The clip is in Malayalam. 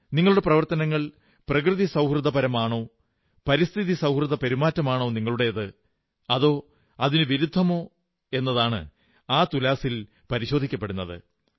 നിങ്ങളുടെ പ്രവർത്തനങ്ങൾ പ്രകൃതിസൌഹൃദപരമാണോ പരിസ്ഥിതി സൌഹൃദ പെരുമാറ്റമാണോ നിങ്ങളുടേത് അതോ അതിനു വിരുദ്ധമോ എന്നതാണ് ആ തുലാസിൽ പരിശോധിക്കപ്പെടുന്നത്